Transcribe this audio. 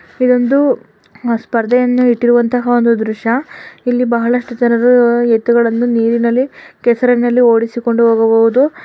ಇದೊಂದು ಸ್ಪರ್ಧೆಯನ್ನು ಇಟ್ಟಿರುವಂತಹ ಒಂದು ದೃಶ್ಯ. ಇಲ್ಲಿ ಬಹಳಷ್ಟು ಜನರು ಎತ್ತುಗಳನ್ನು ಕೆ ಸರಿನ ನೀರಿನಲ್ಲಿ ಓಡಿಸಿಕೊಂಡು ಹೋಗಬಹುದು.